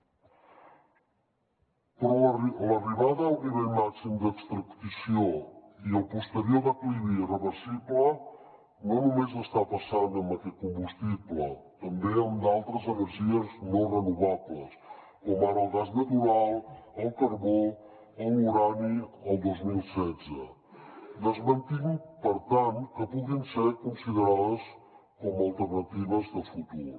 però l’arribada al nivell màxim d’extracció i el posterior declivi irreversible no només està passant amb aquest combustible també amb d’altres energies no renovables com ara el gas natural el carbó o l’urani el dos mil setze desmentint per tant que puguin ser considerades com a alternatives de futur